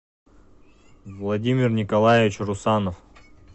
владимир николаевич русанов